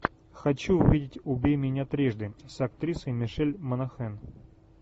хочу увидеть убей меня трижды с актрисой мишель монахэн